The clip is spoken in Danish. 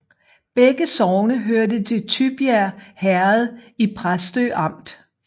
Begge sogne hørte til Tybjerg Herred i Præstø Amt